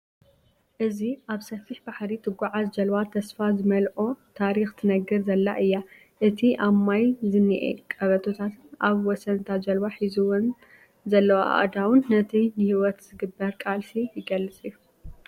እዚ ኣብ ሰፊሕ ባሕሪ ትጓዓዝ ጃልባ ተስፋ ዝመልኦ ታሪኽ ትነግር ዘላ እያ፤ እቲ ኣብ ማይ ዚርአ ቀበቶታትን ኣብ ወሰን እታ ጃልባ ሒዘን ዘለዋ ኣእዳውን ነቲ ንህይወት ዚግበር ቃልሲ ይገልጽ እዩ።